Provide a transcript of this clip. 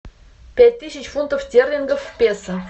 пять тысяч фунтов стерлингов в песо